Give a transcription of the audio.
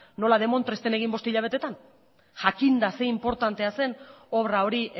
nola demontre ez den egin bost hilabeteetan jakinda ze inportantea zen obra hori